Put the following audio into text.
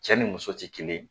Cɛ ni muso tɛ kelen